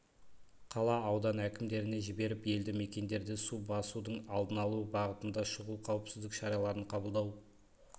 қала аудан әкімдеріне жіберіп елді мекендерде су басудың алдын алу бағытында шұғыл қауіпсіздік шараларын қабылдау